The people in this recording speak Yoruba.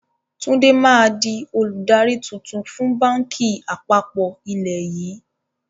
Tunji máa di olùdarí tuntun fun báńkì àpapọ̀ ilẹ̀ yii